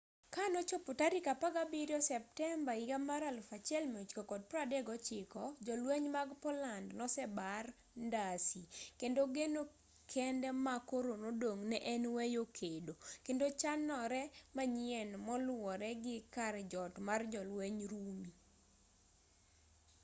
ka nochopo tarik 17 septemba 1939 jolweny mag poland nosebar ndasi kendo geno kende ma koro nodong' ne en weyo kedo kendo chanore manyien moluwore gi kar jot mar jolwenj rumi